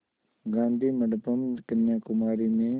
गाधी मंडपम् कन्याकुमारी में